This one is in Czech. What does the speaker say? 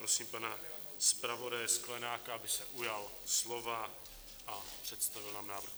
Prosím pana zpravodaje Sklenáka, aby se ujal slova a představil nám návrh.